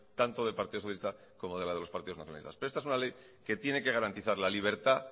tanto del partido socialista como la de los partidos nacionalistas pero esta es una ley que tiene que garantizar la libertad